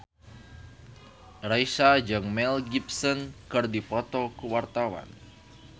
Raisa jeung Mel Gibson keur dipoto ku wartawan